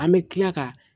An bɛ tila ka